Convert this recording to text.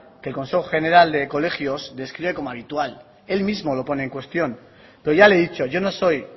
que el consejo general de colegios describe como habitual él mismo lo pone en cuestión pero ya le he dicho yo no soy